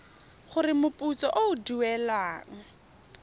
gore moputso o o duelwang